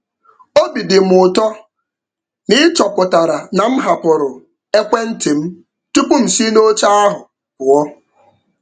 Obi dị m ụtọ na ị chọpụtara na m hapụrụ ekwentị m tupu m si n'oche ahụ pụọ.